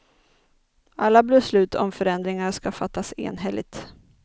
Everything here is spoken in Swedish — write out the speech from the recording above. Alla beslut om förändringar ska fattas enhälligt.